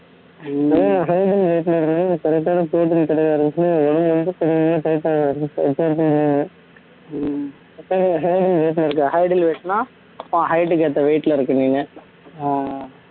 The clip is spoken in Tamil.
height and weight ன்னா height க்கு ஏத்த weight ல இருக்கு நீங்க